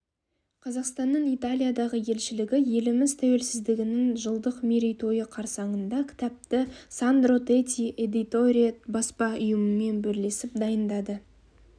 қазақстанның италиядағы елшілігі еліміз тәуелсіздігінің жылдық мерейтойы қарсаңында кітапты сандро тети эдиторе баспа үйімен бірлесіп дайындады